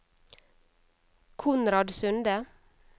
Konrad Sunde